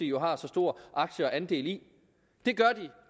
jo har så stor aktie og andel i det gør